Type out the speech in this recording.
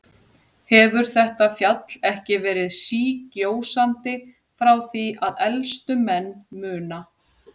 Hefur þetta fjall ekki verið sígjósandi frá því að elstu menn muna?